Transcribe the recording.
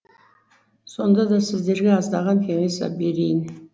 сонда да сіздерге аздаған кеңес берейін